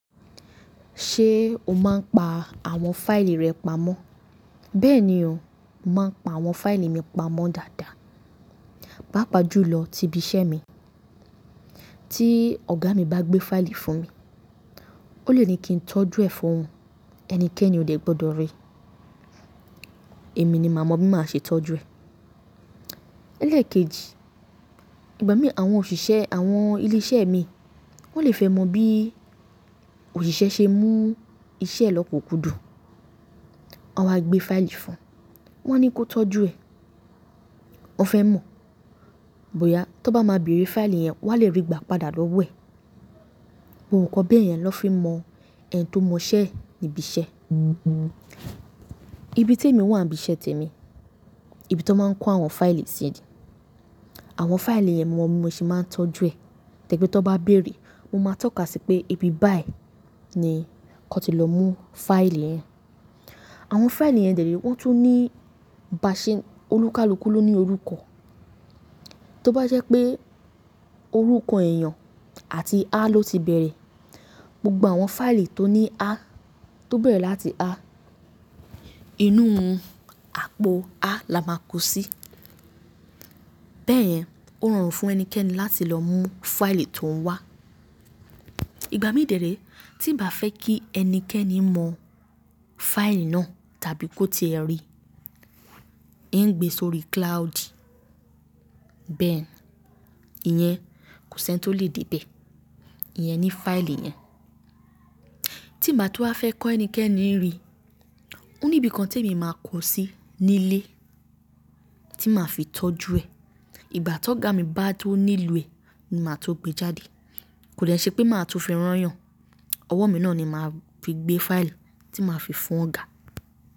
Ṣé o máa ń pa àwọn fáìlì rẹ pamọ́? Bẹ́ẹ̀ni o, mo máa ń pa àwọn fáìlì mi pamọ́ dáadáa, pàápàá jùlọ ti ibi iṣẹ́ mi. Tí ọ̀gá mi bá gbé fáìlì fún mi, ó lè ní kí n tọ́jú ẹ fún òun, ẹnikẹ́ni ò dẹ̀ gbọdọ̀ rí i, èmi ni mà mọ bí máa ṣe tọ́jú ẹ. Élèkéji, ìgbà mìíràn àwọn òṣìṣẹ́ àwọn ilé iṣẹ́ mi, wọ́n lè fẹ́ mọ bí òṣìṣẹ́ ṣe mú iṣẹ́ lọ pokùkùdù. Wan wa gbé fáìlì fún, wa ń ní kó tọ́jú ẹ, wọ́n fẹ́ mọ̀ bóyá tí wọ́n bá ma bèrè fáìlì yẹn, wọ́n á lè rí gbà padà lọ́wọ́ ẹ. Gbogbo nǹkan beyẹn ló fi mọ ẹni tó mọ iṣẹ́ níbi iṣẹ́. Ibi tí èmi wà níbi iṣẹ́ tèmi, ibi tí wọ́n máa ń kó àwọn fáìlì sí odi. Àwọn fáìlì yẹn mo mọ bí mo ṣe ń tọ́jú ẹ, tẹ́gbé tó bá bèrè, mo máa tọ́ka sí pé ibi báyìí ni kí wón ti lọ mú fáìlì yẹn. Àwọn fáìlì yẹn dèré wọ́n tún ní baṣe-- olúkálúkú ló ní orúkọ. Tó bá jẹ́ pé orúkọ èèyàn àti a ló ti bẹ̀rẹ̀, gbogbo àwọn fáìlì tó ní a, tó bẹ̀rẹ̀ láti a, inú àpò a la máa kó sí. Bẹ́ẹ̀ yẹn ó rọrùn fún ẹnikẹ́ni láti lọ mú fáìlì tó ń wá. Ìgbà mìíràn dèré tí bà fẹ́ kí ẹnikẹ́ni mọ fáìlì náà tàbí kó ti ẹ rí i, ń gbé sórí cloud, bẹ́ẹ̀ni ìyẹn kò sí ẹni tó lè dé bẹ́ ẹ, ìyẹn ni fáìlì yẹn. Tí bà tún wa fẹ́ kí ẹnikẹ́ni rí i, òní ibi kan tí èmi máa kó sí ní ilé tí màá fi tọ́jú ẹ. Ìgbà ti ọ̀gá mi bá tó níloo ẹ ni màá tó gbé jáde. Kò dẹ̀ ṣe pé màá tó fi rán èèyàn. Ọwọ́ mi náà ni màá fi gbé fáìlì tí màá fi fún ọ̀gá.